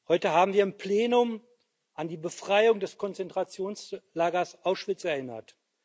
Heute haben wir im Plenum an die Befreiung des Konzentrationslagers Auschwitz erinnert.